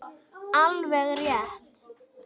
Alveg rétt.